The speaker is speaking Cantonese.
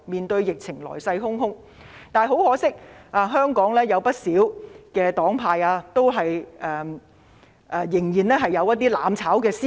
但很可惜，香港有不少黨派仍然有"攬炒"思維。